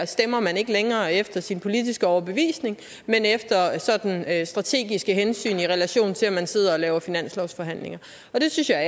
stemmer man ikke længere efter sin politiske overbevisning men efter sådan strategiske hensyn i relation til at man sidder og laver finanslovsforhandlinger og det synes jeg er